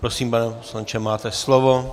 Prosím, pane poslanče, máte slovo.